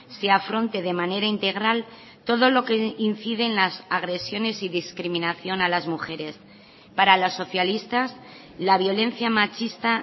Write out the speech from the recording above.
se afronte de manera integral todo lo que incide en las agresiones y discriminación a las mujeres para los socialistas la violencia machista